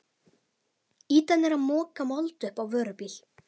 Ýtan er að moka mold upp á vörubíl.